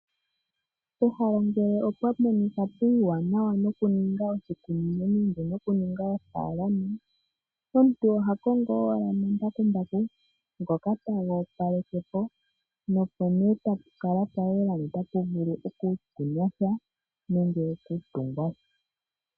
Pehala ngele opwa monika puuwanawa noku ninga oshikunino nenge noku ninga ofaalama , omuntu oha kongo owala omambakumbaku ngoka tago opaleke po, nopo ne tapu kala pwa yela nota pu vulu oku kunwa sha , nenge oku tungwa sha.